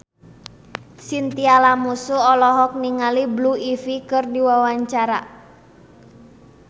Chintya Lamusu olohok ningali Blue Ivy keur diwawancara